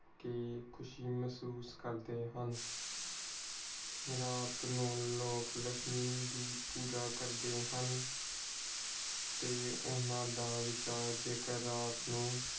ਦੇਕੇ ਖੁਸ਼ੀ ਮਹਿਸੂਸ ਕਰਦੇ ਹਨ। ਰਾਤ ਨੂੰ ਲੋਕ ਲੱਛਮੀ ਦੀ ਪੂਜਾ ਕਰਦੇ ਹਨ। ਤੇ ਓਹਨਾ ਦਾ ਰਾਤ ਨੂੰ